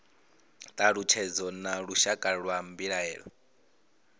thalutshedzo na lushaka lwa mbilaelo